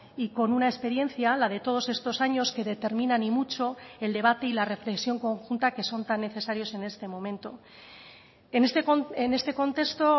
y con una experiencia la de todos estos años que determinan y mucho el debate y la reflexión conjunta que son tan necesarios en este momento en este contexto